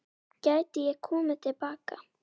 Gæti ég komið til baka?